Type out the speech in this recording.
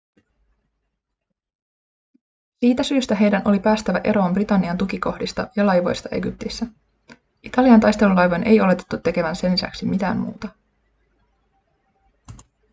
siitä syystä heidän oli päästävä eroon britannian tukikohdista ja laivoista egyptissä italian taistelulaivojen ei oletettu tekevän sen lisäksi mitään muuta